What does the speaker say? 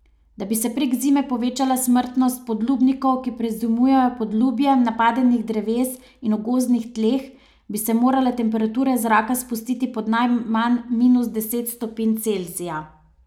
Da bi se prek zime povečala smrtnost podlubnikov, ki prezimujejo pod lubjem napadenih dreves in v gozdnih tleh, bi se morale temperature zraka spustiti pod najmanj minus deset stopinj Celzija.